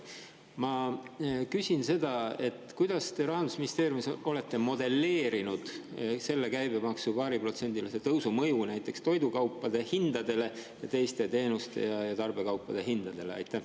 Ma küsin seda: kuidas te Rahandusministeeriumis olete modelleerinud selle käibemaksu paariprotsendilise tõusu mõju näiteks toidukaupade hindadele ja teiste teenuste ja tarbekaupade hindadele?